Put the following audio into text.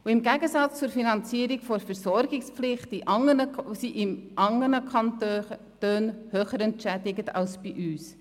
Im Gegensatz dazu wird die Versorgungspflicht in anderen Kantonen höher entschädigt als bei uns.